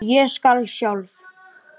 Ég skal sjálf.